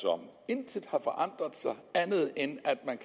om intet har forandret sig andet end at man